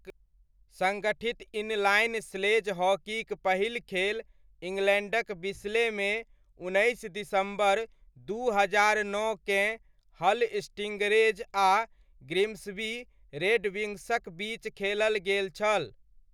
सङ्गठित inline sledge हॉकीक पहिल खेल इङ्ग्लैण्डक बिस्लेमे, उन्नैस दिसम्बर, दू हजार नओकेँ हल स्टिङ्गरेज आ ग्रिम्सबी रेडविन्ग्सक बीच खेलल गेल छल।